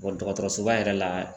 dɔgɔtɔrɔsoba yɛrɛ la.